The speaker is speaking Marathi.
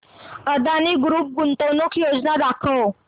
अदानी ग्रुप गुंतवणूक योजना दाखव